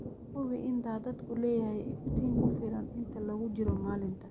Hubi in daadadku leeyahay iftiin ku filan inta lagu jiro maalinta.